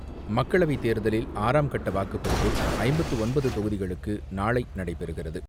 மக்களவைத் தேர்தலில் ஆறாம் கட்ட வாக்குப்பதிவு ஐம்பத்து ஒன்பது தொகுதிகளுக்கு நாளை நடைபெறுகிறது.